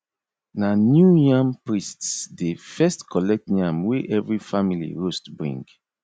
na new yam priest dey first collect yam wey every family roast bring